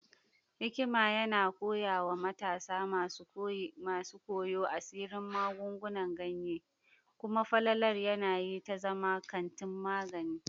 Mai warkarwa mai hikima yana koya wa matasa masu koyo asirin magungunan ganye, kuma falalar yanayi ta zama kantin magani.